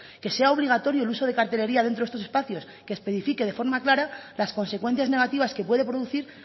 que sea obligatorio el uso de cartelería dentro de estos espacios que especifique de forma clara las consecuencias negativas que puede producir